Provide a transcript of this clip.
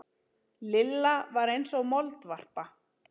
Lilla var eins og moldvarpa.